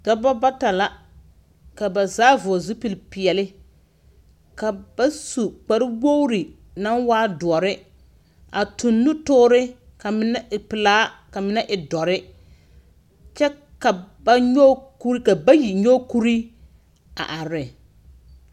Dɔbɔ bata la, ka ba zaa vɔɔl zupilpeɛle. Ka ba su kparwoori naŋ waa doɔrre a toŋ nutoore ka menɛ e pelaa, ka menɛ e dɔrre. Kyɛ ka ba nyɔge kur ka bayi nyɔge kurii a are.